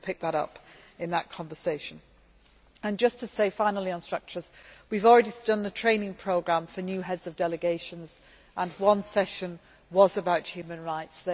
We will pick that point up in that conversation. Finally on structures we have already done the training programme for new heads of delegations, and one session was about human rights.